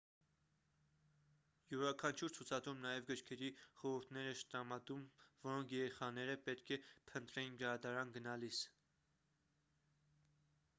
յուրաքանչյուր ցուցադրում նաև գրքերի խորհուրդներ էր տրամադրում որոնք երեխաները պետք է փնտրեին գրադարան գնալիս